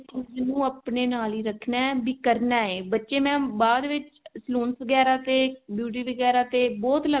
ਇਹਨੂੰ ਆਪਣੇ ਨਾਲ ਹੀ ਰੱਖਣਾ ਵੀ ਕਰਨਾ ਹੈ ਬੱਚੇ mam ਬਾਅਦ ਵਿੱਚ salon ਵਗੇਰਾ ਤੇ beauty ਵਗੇਰਾ ਤੇ